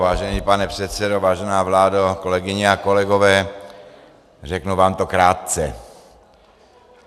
Vážený pane předsedo, vážená vládo, kolegyně a kolegové, řeknu vám to krátce.